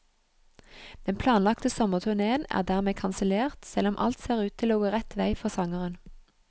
Den planlagte sommerturnéen er dermed kansellert, selv om alt ser ut til å gå rett vei for sangeren.